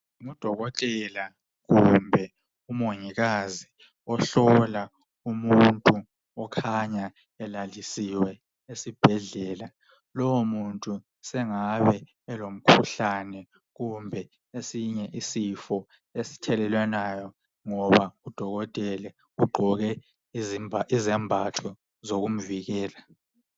Ngudokotela kumbe umongikazi ohlola umuntu okhanya elalisiwe esibhedlela. Lowo muntu sengabe elomkhuhlane kumbe esinye isifo esithelelwanayo ngoba udokotela ugqoke izembatho zokuzivikela.